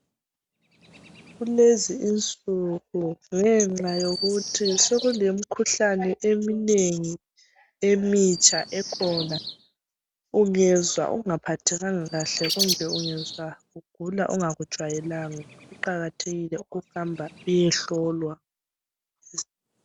Kulezi insuku ngenxa yokuthi sekule mikhuhlane eminengi emitsha ekhona. Ungezwa ungaphathekanga kahle kumbe ungezwa ugula ongakujayelanga kuqakathekile ukuthi uhambe uyehlolwa esibhedlela.